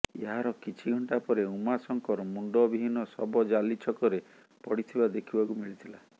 ଏହାର କିଛି ଘଣ୍ଟା ପରେ ଉମାଶଙ୍କର ମୁଣ୍ଡବିହୀନ ଶବ ଜାଲି ଛକରେ ପଡ଼ିଥିବା ଦେଖିବାକୁ ମିଳିଥିଲା